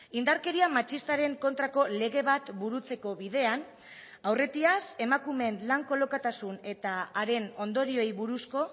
indarkeria matxistaren kontrako lege bat burutzeko bidean aurretiaz emakumeen lan kolokatasun eta haren ondorioei buruzko